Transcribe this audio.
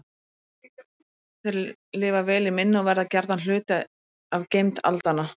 Þeir lifa vel í minni og verða gjarnan hluti af geymd aldanna.